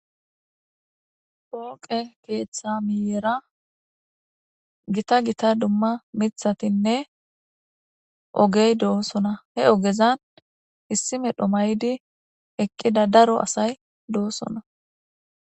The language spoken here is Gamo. pooqe keeththa miyera gita gita dumma mithatinne ogey doosona he ogezan issime dhomaydi eqqida daro asay doosona